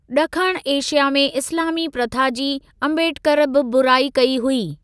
ॾखण एशिया में इस्‍लामी प्रथा जी आंबेडकर बि बुराई कई हुई।